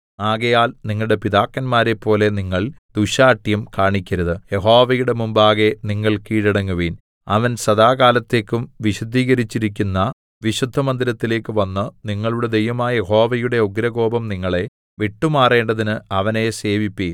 ആകയാൽ നിങ്ങളുടെ പിതാക്കന്മാരേപ്പോലെ നിങ്ങൾ ദുശ്ശാഠ്യം കാണിക്കരുത് യഹോവയുടെ മുമ്പാകെ നിങ്ങൾ കീഴടങ്ങുവീൻ അവൻ സദാകാലത്തേക്കും വിശുദ്ധീകരിച്ചിരിക്കുന്ന വീശുദ്ധമന്ദിരത്തിലേക്ക് വന്ന് നിങ്ങളുടെ ദൈവമായ യഹോവയുടെ ഉഗ്രകോപം നിങ്ങളെ വിട്ടുമാറേണ്ടതിന് അവനെ സേവിപ്പിൻ